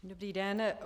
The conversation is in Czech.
Dobrý den.